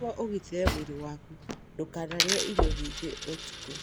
Nĩguo ũgitĩre mwĩrĩ waku ndũkanarĩe irio nyingĩ ũtukũ.